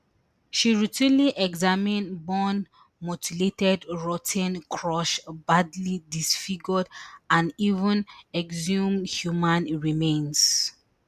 she routinely examine burned mutilated rot ten crushed badly disfigured and even exhumed human remains